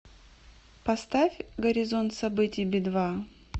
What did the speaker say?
поставь горизонт событий би два